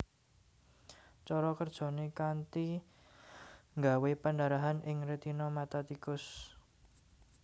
Cara kerjané kanthi nggawé pendarahan ing rètina mata tikus